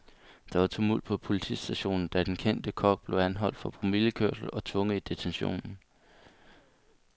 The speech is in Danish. Der var tumult på politistationen, da den kendte kok blev anholdt for promillekørsel og tvunget i detentionen.